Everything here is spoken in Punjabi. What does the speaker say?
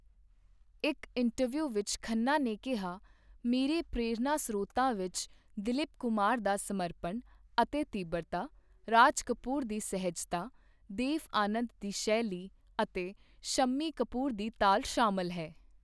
ਇੱਕ ਇੰਟਰਵਿਊ ਵਿੱਚ ਖੰਨਾ ਨੇ ਕਿਹਾਃ 'ਮੇਰੇ ਪ੍ਰੇਰਨਾ ਸਰੋਤਾਂ ਵਿੱਚ ਦੀਲੀਪ ਕੁਮਾਰ ਦਾ ਸਮਰਪਣ ਅਤੇ ਤੀਬਰਤਾ, ਰਾਜ ਕਪੂਰ ਦੀ ਸਹਿਜਤਾ, ਦੇਵ ਆਨੰਦ ਦੀ ਸ਼ੈਲੀ ਅਤੇ ਸ਼ੰਮੀ ਕਪੂਰ ਦੀ ਤਾਲ ਸ਼ਾਮਲ ਹੈ।